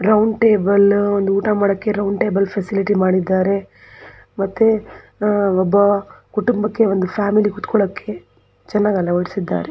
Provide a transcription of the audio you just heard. Round ಟೇಬಲಾ ಒಂದ್ ಊಟ ಮಾಡೋಕ್ಕೆ ರೌಂಡ್ ಟೇಬಲ್ ಫೆಸಿಲಿಟಿ ಮಾಡಿದ್ದಾರೆ ಮತ್ತೆ ಆ ಒಬ್ಬ ಕುಟುಂಬಕ್ಕೆ ಫ್ಯಾಮಿಲಿ ಕುರ್ತಿಕೊಳ್ಳೋಕೆ ಚೆನ್ನಾಗ್ ಅಲವಡಿಸಿದ್ದಾರೆ .